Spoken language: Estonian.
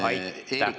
Aitäh!